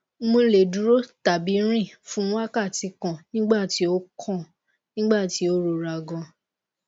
mo le duro tabi rin fun wakati kan nigbati o kan nigbati o rora gan